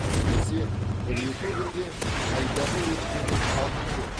әйтпесе бір екі күнде қайдағы өкпенің қабынуы